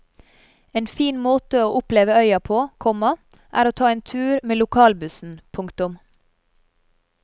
En fin måte å oppleve øya på, komma er å ta en tur med lokalbussen. punktum